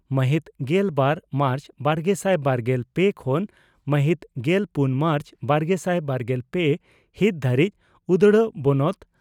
ᱢᱟᱦᱤᱛ ᱜᱮᱞ ᱵᱟᱨ ᱢᱟᱨᱪ ᱵᱟᱨᱜᱮᱥᱟᱭ ᱵᱟᱨᱜᱮᱞ ᱯᱮ ᱠᱷᱚᱱ ᱢᱟᱦᱤᱛ ᱜᱮᱞᱯᱩᱱ ᱢᱟᱨᱪ ᱵᱟᱨᱜᱮᱥᱟᱭ ᱵᱟᱨᱜᱮᱞ ᱯᱮ ᱦᱤᱛ ᱫᱷᱟᱹᱨᱤᱡ ᱩᱫᱽᱲᱟ ᱵᱚᱱᱚᱛ